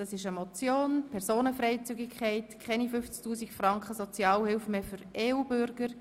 Es geht um die Motion «Personenfreizügigkeit – Keine 50 000 Franken Sozialhilfe mehr für EU-Bürger.